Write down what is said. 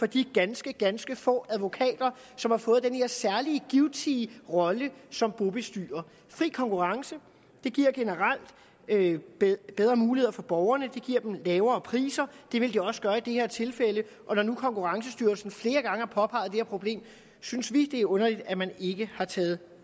de ganske ganske få advokater som har fået den her særlige givtige rolle som bobestyrer fri konkurrence giver generelt bedre muligheder for borgerne det giver dem lavere priser og det vil det også gøre i det her tilfælde og når nu konkurrencestyrelsen flere gange har påpeget det her problem synes vi det er underligt at man ikke har taget